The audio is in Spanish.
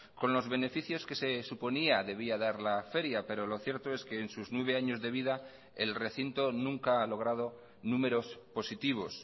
con los beneficios que se suponía debía dar la feria pero lo cierto es que en sus nueve años de vida el recinto nunca ha logrado números positivos